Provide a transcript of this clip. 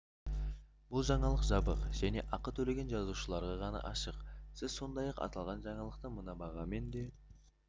бұл жаңалық жабық және ақы төлеген жазылушыларға ғана ашық сіз сондай-ақ аталған жаңалықты мына бағамен де